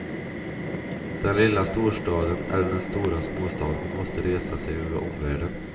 Den lilla storstaden eller den stora småstaden måste resa sig över omvärlden.